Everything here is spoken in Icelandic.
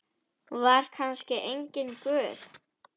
Var kannski enginn Guð?